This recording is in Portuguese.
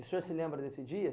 O senhor se lembra desse dia?